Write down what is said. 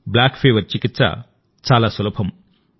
కాలాజార్చికిత్స సులభం